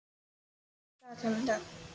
Brestir, hvað er í dagatalinu í dag?